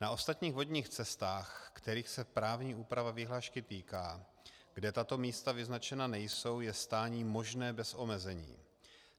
Na ostatních vodních cestách, kterých se právní úprava vyhlášky týká, kde tato místa vyznačena nejsou, je stání možné bez omezení.